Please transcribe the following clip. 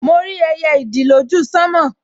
Mo rí ẹyẹ ìdì lójú sánmọ̀